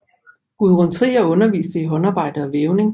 Gudrun Trier underviste i håndarbejde og vævning